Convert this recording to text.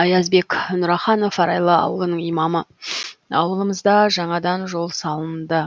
аязбек нұраханов арайлы ауылының имамы ауылымызда жаңадан жол салынды